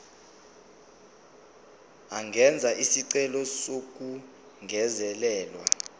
angenza isicelo sokungezelelwa